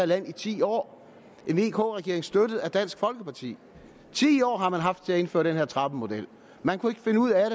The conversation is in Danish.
land i ti år en vk regering støttet af dansk folkeparti ti år har man haft til at indføre den her trappemodel man kunne ikke finde ud af